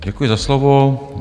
Děkuji za slovo.